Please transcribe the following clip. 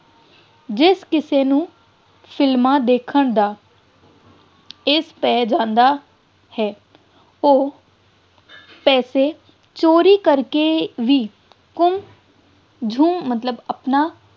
ਜਿਸ ਕਿਸੇ ਨੂੰ ਸਿਨੇਮਾ ਦੇਖਣ ਦਾ ਪੈ ਜਾਂਦਾ ਹੈ ਉਹ ਪੈਸੇ ਚੋਰੀ ਕਰਕੇ ਵੀ ਮਤਲਬ ਆਪਣਾ